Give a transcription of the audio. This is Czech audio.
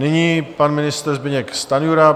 Nyní pan ministr Zbyněk Stanjura.